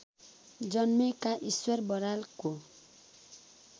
जन्मेका ईश्वर बरालको